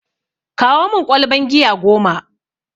Kawo mun ƙwalban giya goma!